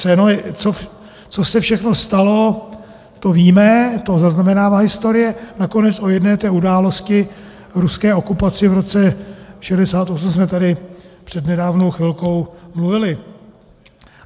Co se všechno stalo, to víme, to zaznamenává historie, nakonec o jedné té události, ruské okupaci v roce 1968 jsme tady před nedávnou chvilkou mluvili.